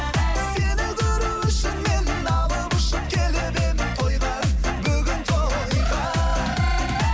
сені көру үшін мен алып ұшып келіп едім тойға бүгін тойға